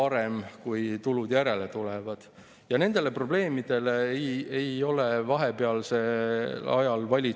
See mõju on vastupidine tulumaksuseaduse seletuskirjas tulumaksu kaotamise selgitusele, mille kohaselt soodustuste kaotamine aitab tasandada nende ebavõrdsest jaotusest tulenevat ebaõiglust.